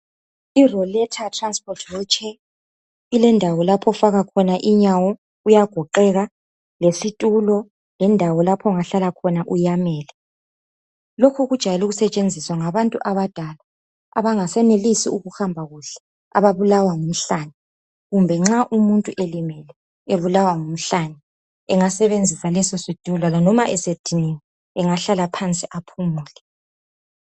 I roletha transport wheelchair ilendawo lapho ofaka khona inyawo kuyagoqeka lesitulo lendawo lapho ongahlala khona uyamele. Lokhu kujayele ukusetshenziswa ngabantu abadala abangasenelisi ukuhamba kuhle ababulawa ngumhlane. Kumbe nxa umuntu elimele ebulawa ngumhlane engasebenzisa leso situlo noma esediniwe engahlala phansi aphumule.